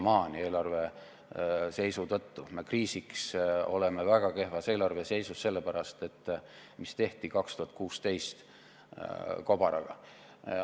Meie eelarve on kriisiks väga kehvas seisus selle pärast, mis tehti 2016. aasta kobaraga.